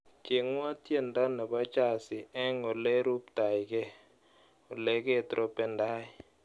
Cheng'wa tyendo nebo Jazi eng oleruptaike oleketrompendai.